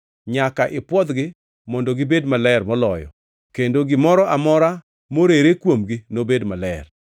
Nyaka ipwodhgi mondo gibed maler moloyo kendo gimoro amora morere kuomgi nobed maler.